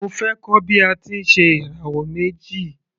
Mo fẹ́ kọ́ bí a ti ń ṣe ìràwọ̀ méjì.